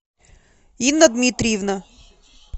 инна дмитриевна